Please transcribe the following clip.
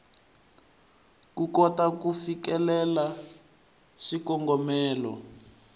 ku kota ku fikelela swikongomelo